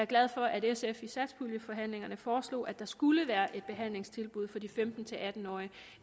glad for at sf i satspuljeforhandlingerne foreslog at der skulle være et behandlingstilbud for de femten til atten årige